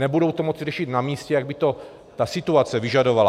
Nebudou to moci řešit na místě, jak by to ta situace vyžadovala.